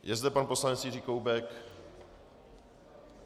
Je zde pan poslanec Jiří Koubek?